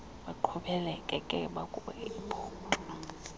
baqhubekeke babuke ibhotwe